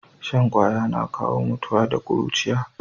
Shan ƙaya na kawo mutuwa da kuruciya